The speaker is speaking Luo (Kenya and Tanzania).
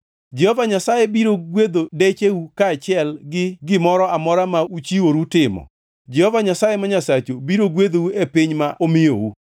Jehova Nyasaye biro gwedho decheu kaachiel gi gimoro amora ma uchiworu timo, Jehova Nyasaye ma Nyasachu biro gwedhou e piny ma omiyou.